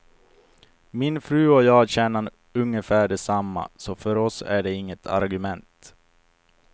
Min fru och jag tjänar ungefär detsamma, så för oss är det inget argument.